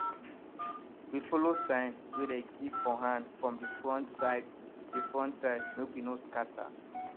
we follow sign wey dey give for hand from de front side de front side make we no scatter